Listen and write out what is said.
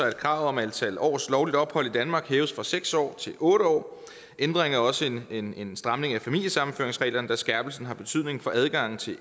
at kravet om antal års lovligt ophold i danmark hæves fra seks år til otte år ændringen er også en en stramning af familiesammenføringsreglerne da skærpelsen har betydning for adgangen til